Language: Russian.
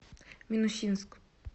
минусинск